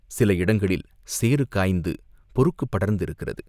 சில இடங்களில் சேறு காய்ந்து பொறுக்குப் படர்ந்திருக்கிறது.